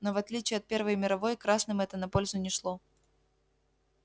но в отличие от первой мировой красным это на пользу не шло